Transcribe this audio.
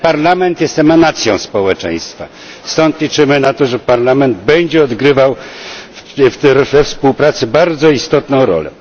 Ten Parlament jest emanacją społeczeństwa. Stąd liczymy na to, że Parlament będzie odgrywał we współpracy bardzo istotną rolę.